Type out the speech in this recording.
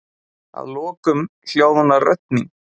Að lokum hljóðnar rödd mín.